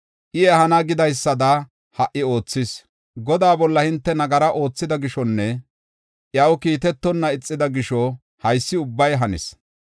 I ehana gidaysada ha77i oothis; Godaa bolla hinte nagara oothida gishonne iyaw kiitetonna ixida gisho haysi ubbay hanis.